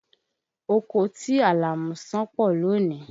Oko ti Àlàmú ṣán pọ̀ lónìí.